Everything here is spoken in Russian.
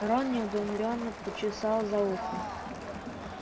рон недоуменно почесал за ухом